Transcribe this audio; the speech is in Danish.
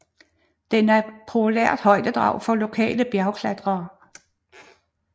Den er et populært højdedrag for lokale bjergklatrere